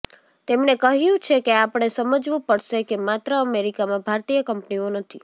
તેમણે ક્હ્યું છે કે આપણે સમજવું પડશે કે માત્ર અમેરિકામાં ભારતીય કંપનીઓ નથી